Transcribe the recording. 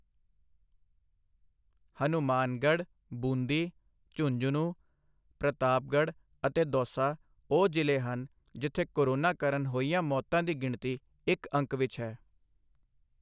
ਹਨੂੰਮਾਨਗੜ੍ਹ, ਬੂੰਦੀ, ਝੁੰਝਨੂ, ਪ੍ਰਤਾਪਗੜ ਅਤੇ ਦੌਸਾ ਉਹ ਜ਼ਿਲ੍ਹੇ ਹਨ ਜਿੱਥੇ ਕੋਰੋਨਾ ਕਾਰਨ ਹੋਈਆਂ ਮੌਤਾਂ ਦੀ ਗਿਣਤੀ ਇੱਕ ਅੰਕ ਵਿੱਚ ਹੈ।